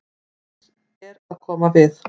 Hann er að koma við.